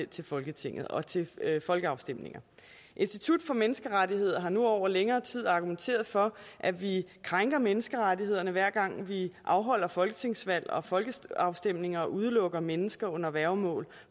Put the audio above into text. til folketinget og til folkeafstemninger institut for menneskerettigheder har nu over længere tid argumenteret for at vi krænker menneskerettighederne hver gang vi afholder folketingsvalg og folkeafstemninger og udelukker mennesker under værgemål